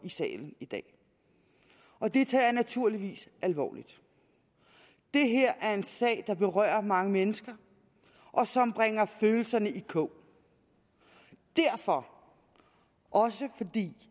salen i dag og det tager jeg naturligvis alvorligt det her er en sag der berører mange mennesker og som bringer følelserne i kog derfor og fordi